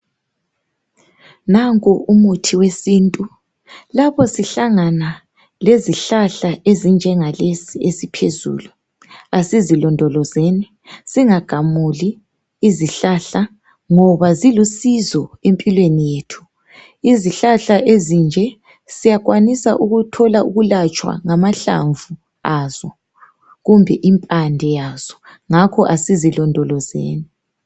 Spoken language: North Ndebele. Nanku umuthi wesintu, lapho sihlangana lezihlahla ezinjenga lesi, esiphezulu asizilondo lozeni. Singagamuli izihlahla, ngoba zilusizo empilweni yethu. Izihlahla ezinje siyakwanisa ukuthola ukulatshwa ngamahlamvu azo kumbe impande yazo, ngakho asizilondolozeni.